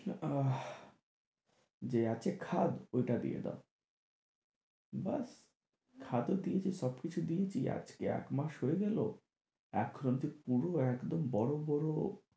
আহ যে আছে খাদ ঐটা দিয়ে দাও ব্যাস খাদ ও দিয়েছি সব কিছু দিয়েছি আজকে এক মাস হয়ে গেলো এখনো অবধি পুরো একদম বড়ো বড়ো